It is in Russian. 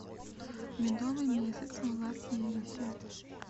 медовый месяц в лас вегасе